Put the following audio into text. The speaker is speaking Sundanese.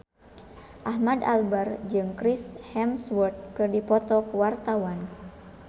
Ahmad Albar jeung Chris Hemsworth keur dipoto ku wartawan